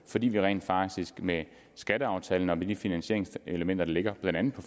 fordi vi rent faktisk med skatteaftalen og med de finansieringselementer der ligger blandt andet på